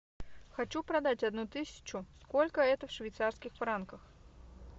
хочу продать одну тысячу сколько это в швейцарских франках